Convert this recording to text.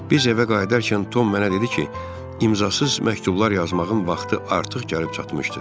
Biz evə qayıdarkən Tom mənə dedi ki, imzasız məktublar yazmağın vaxtı artıq gəlib çatmışdır.